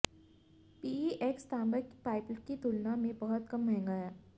PEX तांबा pipe की तुलना में बहुत कम महंगा है